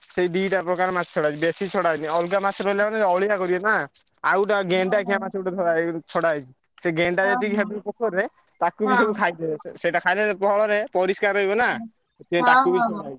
ସେଇ ଦିଟା ପ୍ରକାର ମାଛ ଛଡା ହେଇଛି ବେଶୀ ଛଡାହେଇନି। ଅଲଗା ମାଛ ରହିଲା ମାନେ ଅଳିଆ କରିବେ ନା। ଆଉ ଗୋଟେ ଗେଣ୍ଡାଖିଆ ମାଛ ଗୋଟେ ଧର ହେଇଛି ଛଡା ହେଇଛି। ସେ ଗେଣ୍ଡା ଯେତିକି ପୋଖରୀରେ ତାକୁ ବି ସବୁ ସେଇଟା ଖାଇଲେ ପରିଷ୍କାର ରହିବନା।